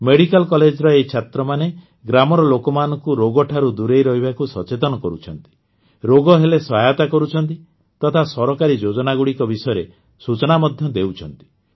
medical କଲେଜର ଏହି ଛାତ୍ରମାନେ ଗ୍ରାମର ଲୋକମାନଙ୍କୁ ରୋଗଠାରୁ ଦୂରେଇ ରହିବାକୁ ସଚେତନ କରୁଛନ୍ତି ରୋଗ ହେଲେ ସହାୟତା କରୁଛନ୍ତି ତଥା ସରକାରୀ ଯୋଜନାଗୁଡ଼ିକ ବିଷୟରେ ସୂଚନା ମଧ୍ୟ ଦେଉଛନ୍ତି